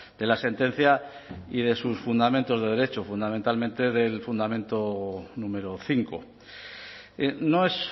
de la sentencia y de sus fundamentos de derecho fundamentalmente del fundamento número cinco no es